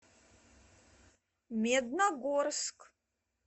медногорск